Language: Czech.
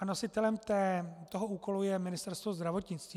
A nositelem toho úkolu je Ministerstvo zdravotnictví.